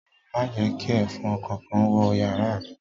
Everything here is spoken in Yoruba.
Ma je ​​ki èfọn kánkán wo yàrá mi